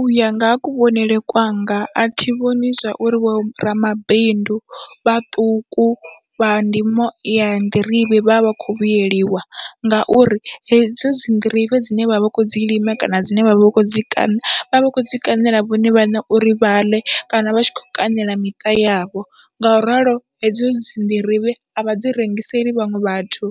Uya nga ha kuvhonele kwanga athi vhoni zwa uri vho ramabindu vhaṱuku vha ndimo ya nḓirivhe vhavha vha khou vhuyeliwa, ngauri hedzo dzi nḓirivhe dzine vha vha vha kho dzi lima kana dzine vha vha vha kho dzi kaṋa vha vha vha kho dzi kaṋela vhone vhaṋe, uri vhaḽe kana vha tshi kho kaṋela miṱa yavho ngauralo hedzo dzi nḓirivhe avha dzi rengiseli vhaṅwe vhathu